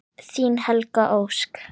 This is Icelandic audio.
Þín Helga Ósk.